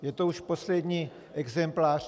Je to už poslední exemplář.